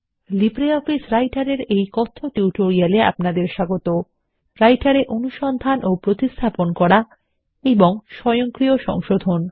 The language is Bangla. লিব্রিঅফিস রাইটের এর এই কথ্য টিউটোরিয়াল এ আপনাদের স্বাগত রাইটার এ অনুসন্ধান ও প্রতিস্থাপন করা এবং স্বয়ংক্রিয় সংশোধন